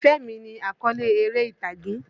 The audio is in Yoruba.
Ìfẹ́ mi ni àkọ́le eré ìtàgé.